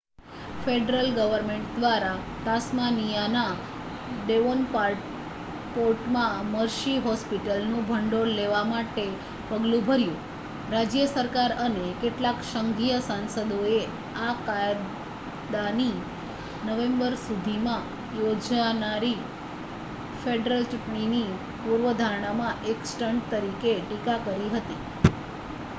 federal government દ્વારા તાસ્માનિયાના ડેવોનપોર્ટમાં મર્સી હોસ્પિટલનું ભંડોળ લેવા માટે પગલું ભર્યુ.રાજ્ય સરકાર અને કેટલાક સંઘીય સાંસદોએ આ કાયદાની નવેમ્બર સુધીમાં યોજાનારી ફેડરલ ચૂંટણીની પૂર્વધારણામાં એક સ્ટંટ તરીકે ટીકા કરી હતી